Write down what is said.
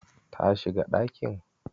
Ta shiga ɗakin?